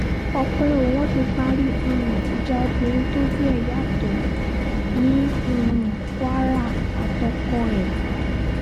ọ̀pẹ̀ o wọ́n ti parí um ìjà obìnrin tójú ẹ̀ yàtọ̀ ní um kwara àtọkọ ẹ̀